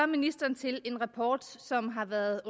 ministeren til en rapport som har været